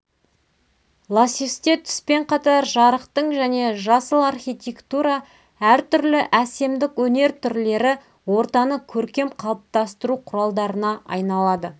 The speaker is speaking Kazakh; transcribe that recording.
лассюсте түспен қатар жарықтың және жасыл архитектура әртүрлі әсемдік өнер түрлері ортаны көркем қалыптастыру құралдарына айналады